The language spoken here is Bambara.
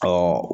Ka